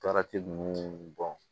ninnu